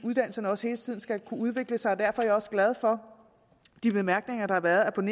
uddannelserne også hele tiden skal kunne udvikle sig derfor er jeg også glad for de bemærkninger der har været om